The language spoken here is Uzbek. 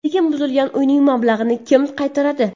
Lekin buzilgan uyning mablag‘ini kim qaytaradi?